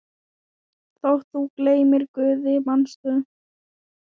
Þótt þú gleymir Guði, manstu?